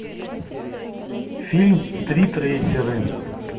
фильм стритрейсеры